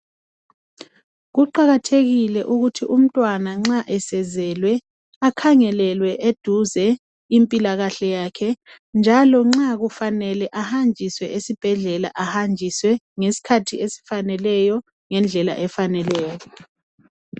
Kuqakathekile ukuthi umntwana nxa esezelwe akhangelelwe eduze impilakahle yakhe njalo nxa kumele ahanjiswe esibhedlela ahanjiswe ngesikhathi esifaneleyo, ngendlela efaneleyo.